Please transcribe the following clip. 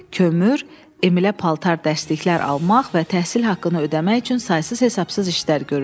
Kömür, Emilə paltar dəstliklər almaq və təhsil haqqını ödəmək üçün saysız-hesabsız işlər görürdü.